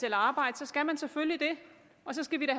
et arbejde skal man selvfølgelig det og så skal vi da